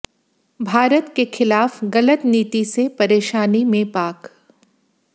भारत के खिलाफ गलत नीति से परेशानी में पाक